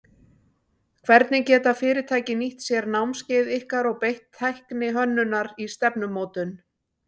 Hvernig geta fyrirtæki nýtt sér námskeið ykkar og beitt tækni hönnunar í stefnumótun?